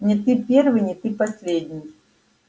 не ты первый не ты последний